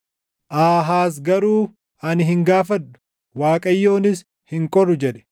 Aahaaz garuu, “Ani hin gaafadhu; Waaqayyonis hin qoru” jedhe.